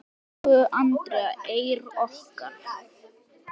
Elsku Andrea Eir okkar.